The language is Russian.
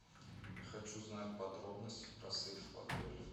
хочу знать подробности про сейф в отеле